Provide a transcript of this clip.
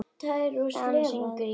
Hvað syngur í þér?